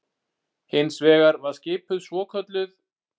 Hins vegar var skipuð svokölluð